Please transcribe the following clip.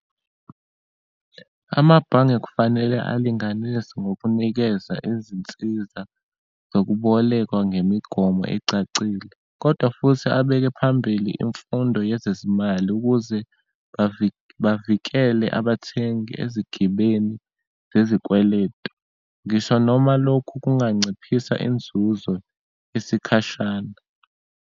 Amabhange kufanele alinganise ngokunikeza izinsiza zokubolekwa ngemigomo ecacile, kodwa futhi abeke phambili imfundo yezezimali, ukuze bavikele abathengi ezigibeni zezikweletu. Ngisho noma lokhu kunganciphisa inzuzo isikhashana.